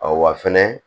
wa fɛnɛ